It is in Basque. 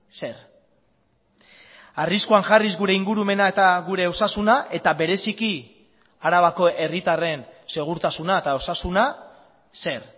zer arriskuan jarriz gure ingurumena eta gure osasuna eta bereziki arabako herritarren segurtasuna eta osasuna zer